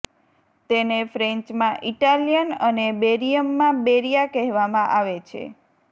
તેને ફ્રેન્ચમાં ઇટાલિયન અને બેરીયમમાં બૅરિયા કહેવામાં આવે છે